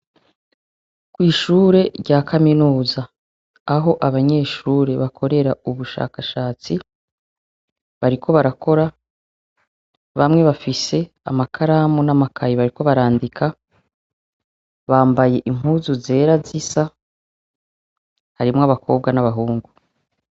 Kw'ishure rya kaminuza, aho abanyeshure bakorera ubushakashatsi, bariko barakora bamwe bafise amakaramu n'amakayi bariko barandika, bambaye impuzu zera z'isa harimo abakobwa n'abahungu.